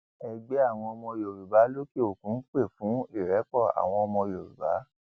ẹgbẹ àwọn ọmọ yorùbá lókèòkun pé fún ìrẹpọ àwọn ọmọ yorùbá